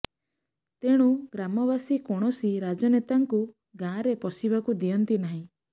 ତେଣୁ ଗ୍ରାମବାସୀ କୌଣସି ରାଜନେତାଙ୍କୁ ଗାଁରେ ପଶିବାକୁ ଦିଅନ୍ତି ନାହିଁ